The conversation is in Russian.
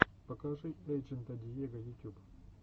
покажи эйджента диего ютюб